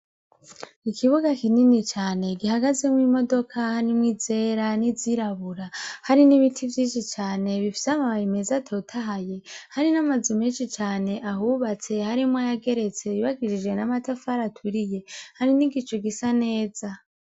Ikibuga kinini cane gihagazemwo imodoka harimwo izera n'izirabura hari n'ibiti vyishi cane bifise amababi meza atotahaye hari n'amazu meshi cane ahubatse harimwo ayageretse yubakishije amatafari aturiye hari n'igicu gisa neza.